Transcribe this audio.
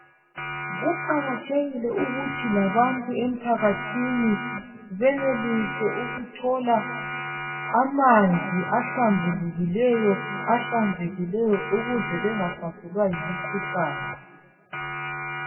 Kuqakathekile ukuthi labantu emphakathini benelise ukuthola amanzi ahlambulukileyo ahlanzekileyo ukuze bengahlaselwa yimikhuhlane